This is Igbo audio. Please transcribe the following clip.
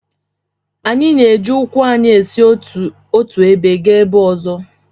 Anyị na-eji ụkwụ anyị esi n’otu ebe gaa ebe ọzọ